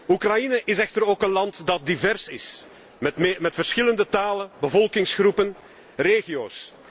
Oekraïne is echter ook een land dat divers is, met verschillende talen, bevolkingsgroepen en regio's.